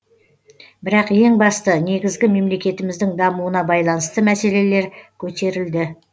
бірақ ең басты негізгі мемлекетіміздің дамуына байланысты мәселелер көтерілді